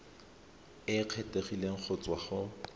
e kgethegileng go tswa go